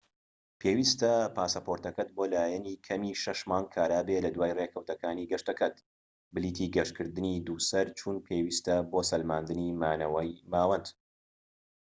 پێویستە پاسەپۆرتەکەت بۆ لایەنی کەمی 6 مانگ کارا بێت لە دوای ڕێکەوتەکانی گەشتەکەت. پلیتی گەشتکردنی دووسەر/چوون پێویستە بۆ سەلماندنی ماوەی مانەوەت